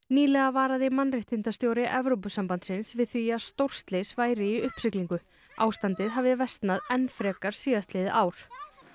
nýlega varaði mannréttindastjóri Evrópusambandsins við því að stórslys væri í uppsiglingu ástandið hafi versnað enn frekar síðastliðið ár